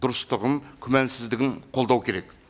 дұрыстығын күмәнсіздігін қолдау керек